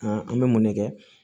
an bɛ mun ne kɛ